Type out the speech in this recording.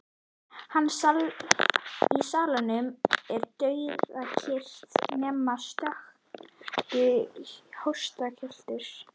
Í salnum er dauðakyrrð nema stöku hóstakjöltur.